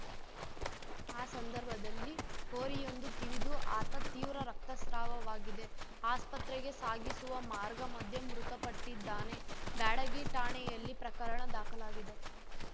ಆ ಸಂದರ್ಭದಲ್ಲಿ ಹೋರಿಯೊಂದು ತಿವಿದು ಆತ ತೀವ್ರ ರಕ್ತಸ್ರಾವವಾಗಿದೆ ಆಸ್ಪತ್ರೆಗೆ ಸಾಗಿಸುವ ಮಾರ್ಗ ಮಧ್ಯೆ ಮೃತಪಟ್ಟಿದ್ದಾನೆ ಬ್ಯಾಡಗಿ ಠಾಣೆಯಲ್ಲಿ ಪ್ರಕರಣ ದಾಖಲಾಗಿದೆ